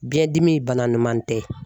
Biɲɛdimi bana ɲuman tɛ